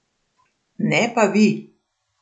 Ne pa vi.